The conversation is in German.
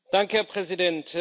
Herr Präsident!